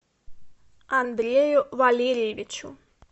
андрею валериевичу